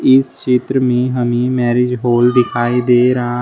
इस चित्र में हमें मैरिज हॉल दिखाई दे रहा है।